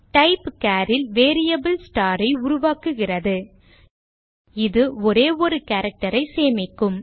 type char ல் variable star ஐ உருவாக்குகிறது இது ஒரே ஒரு character ஐ சேமிக்கும்